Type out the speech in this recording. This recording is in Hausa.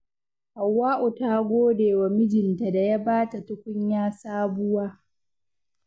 Hauwa'u ta gode wa mijinta da ya ba ta tukunya sabuwa.